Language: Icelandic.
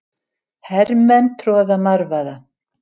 Hermenn að troða marvaða.